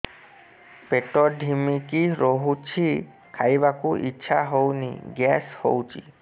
ପେଟ ଢିମିକି ରହୁଛି ଖାଇବାକୁ ଇଛା ହଉନି ଗ୍ୟାସ ହଉଚି